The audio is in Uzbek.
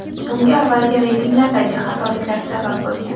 Bunga avvalgi reytinglardagi xatoliklar sabab bo‘lgan.